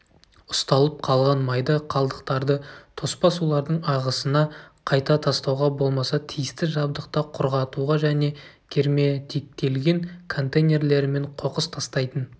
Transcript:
ұсталып қалған майда қалдықтарды тоспа сулардың ағысына қайта тастауға болмаса тиісті жабдықта құрғатуға және герметиктелген контейнерлермен қоқыс тастайтын